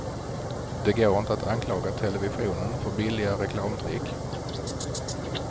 Det går inte att anklaga televisionen för billiga reklamtrick.